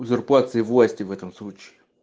узурпация власти в этом случае